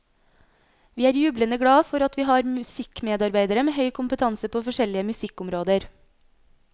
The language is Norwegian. Vi er jublende glad for at vi har musikkmedarbeidere med høy kompetanse på forskjellige musikkområder.